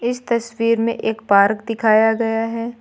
इस तस्वीर में एक पार्क दिखाया गया है।